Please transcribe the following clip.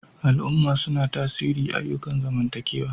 Al'umma suna tasiri ayyukan zamantakewa.